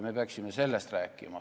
Me peaksime sellest rääkima.